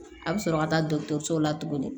A bɛ sɔrɔ ka taa dɔgɔtɔrɔso la tuguni